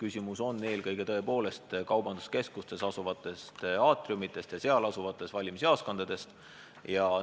Küsimus tekib tõepoolest eelkõige kaubanduskeskuste aatriumite ja seal asuvate valimisjaoskondade korral.